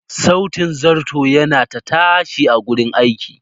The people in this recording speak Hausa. Sautin zarto yana ta tashi a cikin gurin aiki.